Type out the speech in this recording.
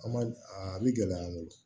An ma a bɛ gɛlɛya an bolo